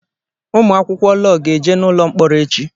Ụmụ akwụkwọ lọọ ga-eje n'ụlọ mkpọrọ echi.